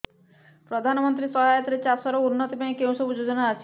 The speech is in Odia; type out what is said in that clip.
ପ୍ରଧାନମନ୍ତ୍ରୀ ସହାୟତା ରେ ଚାଷ ର ଉନ୍ନତି ପାଇଁ କେଉଁ ସବୁ ଯୋଜନା ଅଛି